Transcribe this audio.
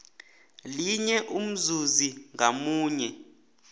linye umzuzi ngamunye